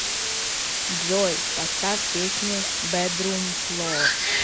джой поставь песню бэдрум фло